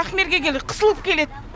ақмерге келеді қысылып келеді